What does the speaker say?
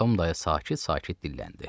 Tom dayı sakit-sakit dilləndi: